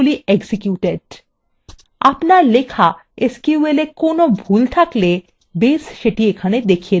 আপনার লেখা এসকিউএলwe কোনো sql থাকলে base সেটি এখানে দেখিয়ে দেবে